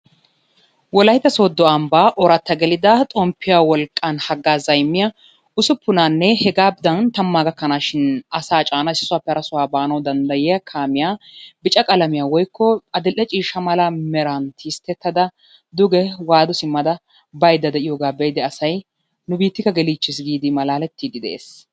Wolaytta soodo ambbaa mati geelida xomppiyaa wolqqaan hagaazzaa immiyaa usupunaanne hegaadan tammaa gakanashin asaa caana issisappe hara sohuwaa baana dandayiyaa kaamiyaa bica qalamiyaa woykko adil"e ciishsha mera mala tisttetada duge waadu simmada baydda de'iyoogaa be'idi asay nu biittika gelliichchiis giidi malaalettiidi de'es.